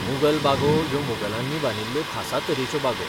मुघल बागो ह्यो मुघलांनी बांदिल्ल्यो खासा तरेच्यो बागो.